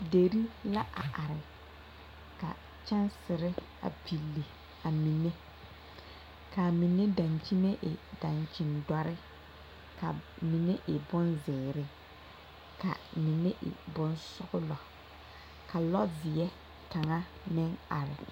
Deri la a are ka kyɛnsere a pilli a mine k,a mine dankyime e dankyindɔre ka mine e bonzeere ka mine e bonsɔglɔ ka lɔɔzeɛ kaŋa meŋ are.